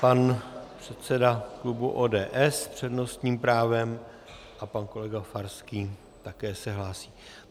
Pan předseda klubu ODS s přednostním právem a pan kolega Farský se také hlásí.